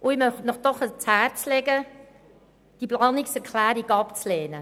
Ich möchte Ihnen ans Herz legen, diese Planungserklärung abzulehnen.